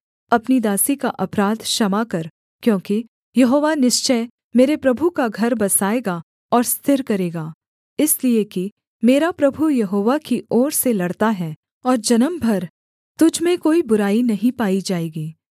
अपनी दासी का अपराध क्षमा कर क्योंकि यहोवा निश्चय मेरे प्रभु का घर बसाएगा और स्थिर करेगा इसलिए कि मेरा प्रभु यहोवा की ओर से लड़ता है और जन्म भर तुझ में कोई बुराई नहीं पाई जाएगी